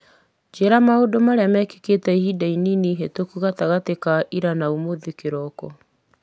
njĩra maũndũ marĩa mekĩkĩte ihinda inini ihetũku gatagatĩ-inĩ ka ira na ũmũthĩ kĩroko